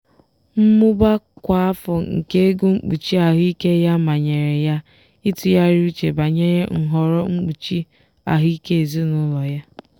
mmụba kwa afọ nke ego mkpuchi ahụike ya manyere ya ịtụgharị uche banyere nhọrọ mkpuchi ahụike ezinụlọ ya.